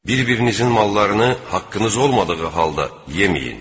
Bir-birinizin mallarını haqqınız olmadığı halda yeməyin.